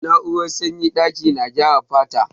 Na'urar sanyin daƙi na gyara fata.